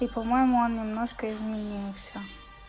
и по-моему он немножко изменился